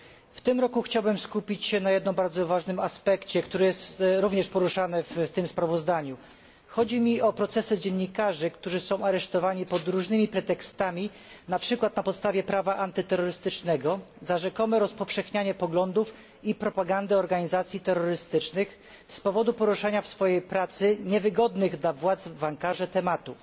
W tym roku chciałbym skupić się na jednym bardzo ważnym aspekcie, który jest również poruszany w tym sprawozdaniu. Chodzi o procesy dziennikarzy, którzy są aresztowani pod różnymi pretekstami, na przykład na podstawie prawa antyterrorystycznego za rzekome rozpowszechnianie poglądów i propagandę organizacji terrorystycznych z powodu poruszania w swojej pracy niewygodnych dla władz w Ankarze tematów.